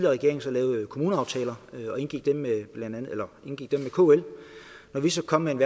regering lavede kommuneaftaler og indgik dem med kl så kom med en